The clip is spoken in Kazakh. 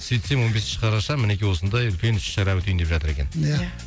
сөйтсем он бесінші қараша мінекей осындай үлкен іс шара өтейін деп жатыр екен иә